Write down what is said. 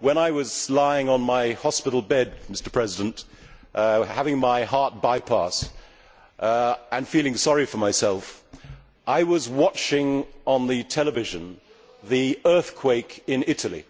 When I was lying on my hospital bed, having my heart bypass and feeling sorry for myself, I was watching on the television the earthquake in Italy,